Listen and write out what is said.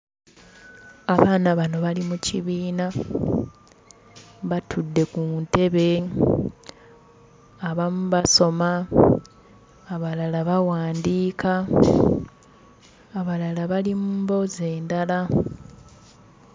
Abaana bano bali mu kibiina batudde ku ntebe, abamu basoma, abalala bawandiika, abalala bali mu mboozi endala.